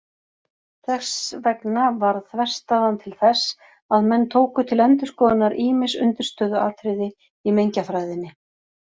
Þess vegna varð þverstæðan til þess að menn tóku til endurskoðunar ýmis undirstöðuatriði í mengjafræðinni.